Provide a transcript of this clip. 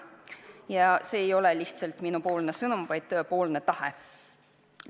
Ja see ei ole lihtsalt minupoolne sõnum, ma tõesti tahan seda.